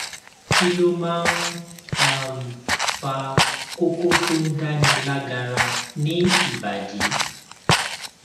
kí ló máa ń um fa koko tó ń dáni lágara ni ibadi